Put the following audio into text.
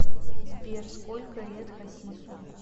сбер сколько лет хасису